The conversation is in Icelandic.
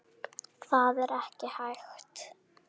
Það er ekki hægt